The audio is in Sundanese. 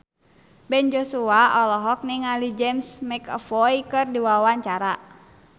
Ben Joshua olohok ningali James McAvoy keur diwawancara